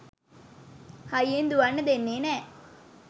හයියෙන් දුවන්න දෙන්නේ නෑ